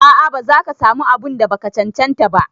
A'a ba zaka samu abun da baka cancanta ba.